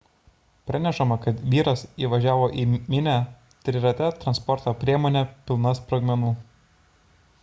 pranešama kad vyras įvažiavo į minią trirate transporto priemone pilna sprogmenų